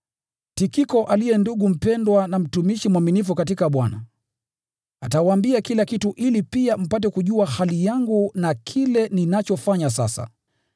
Tikiko, aliye ndugu mpendwa na mtumishi mwaminifu katika Bwana, atawaambia kila kitu, ili pia mpate kujua hali yangu na kile ninachofanya sasa.